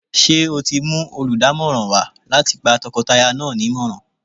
Ṣé o ti mú olùdámọ̀ràn wá láti gba tọkọtaya náà nímọ̀ràn?